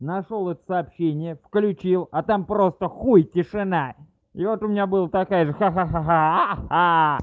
нашёл это сообщения включил а там просто хуй тишина и вот у меня была такая же ха-ха